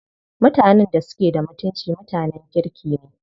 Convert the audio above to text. Mutanen da suke da mutunci mutanen kirki ne.